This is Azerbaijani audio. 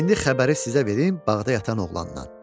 İndi xəbəri sizə verim bağda yatan oğlandan.